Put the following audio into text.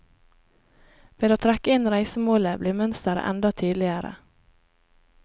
Ved å trekke inn reisemålet blir mønsteret enda tydeligere.